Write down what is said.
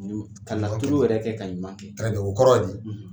Ka laturu yɛrɛ kɛ ka ɲuman kɛ, o kɔrɔ di?